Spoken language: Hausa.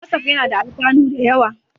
Watsaf yana da alfanu da yawa.